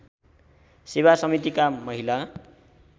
सेवा समितिका महिला